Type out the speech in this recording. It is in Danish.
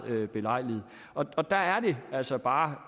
belejligt og der er det altså bare